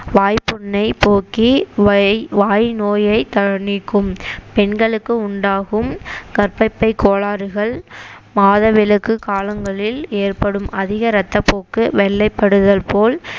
வாய்ப்புண்ணை போக்கி வை~ வாய் நோயை த~ நீக்கும் பெண்களுக்கு உண்டாகும் கர்ப்பப்பை கோளாறுகள் மாதவிலக்கு காலங்களில் ஏற்படும் அதிக ரத்தப்போக்கு வெள்ளைப்படுதல் போல்